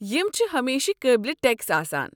یم چھِ ہمیشہِ قٲبلہ ٹیكس آسان۔